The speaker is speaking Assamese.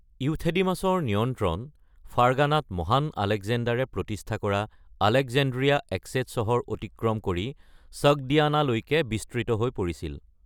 ইউথেডিমাছৰ নিয়ন্ত্ৰণ, ফাৰ্গানাত মহান আলেকজেণ্ডাৰে প্ৰতিষ্ঠা কৰা আলেকজেণ্ড্ৰিয়া এস্কেট চহৰৰ অতিক্ৰম কৰি, ছগ্‌ডিয়ানালৈকে বিস্তৃত হৈ পৰিছিল।